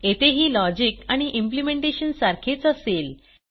येथेही लॉजिक आणि इम्प्लिमेंटेशन सारखेच असेल